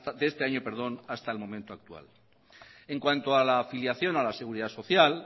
de este año hasta el momento actual en cuanto a la afiliación a la seguridad social